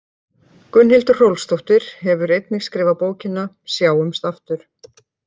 Gunnhildur Hrólfsdóttir hefur einnig skrifað bókina Sjáumst aftur.